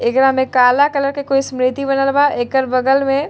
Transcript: एकरा मे काला कलर के कोई स्मृति बनल बा एकर बगल मे --